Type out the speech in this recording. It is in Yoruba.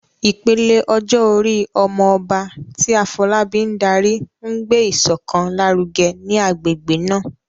Ìpele ọjọ́ orí "Omo Oba," tí Afolabi ń darí, ń gbé ìṣọ̀kan lárugẹ ní agbègbè náà.